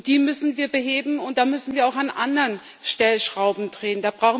Die müssen wir beheben. Da müssen wir auch an anderen Stellschrauben drehen.